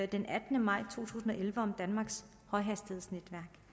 den attende maj to tusind og elleve om danmarks højhastighedsnet